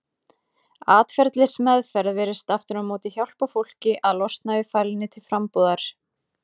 Atferlismeðferð virðist aftur á móti hjálpa fólki að losna við fælni til frambúðar.